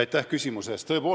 Aitäh küsimuse eest!